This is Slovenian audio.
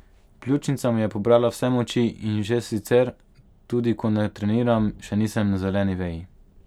Pljučnica mi je pobrala vse moči in že sicer, tudi ko ne treniram, še nisem na zeleni veji.